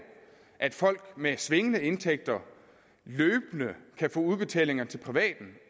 at folk med svingende indtægter løbende kan få udbetalinger til privaten